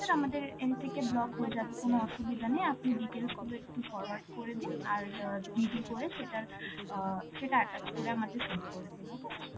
আমাদের end থেকে block হয়ে যাবে, কোন অসুবিধা নেই, আপনি details গুলো একটু forward করে দিন, আর অ্যাঁ GD করে সেটার~ অ্যাঁ সেটা attach করে আমাদের send করে দিন, okay sir?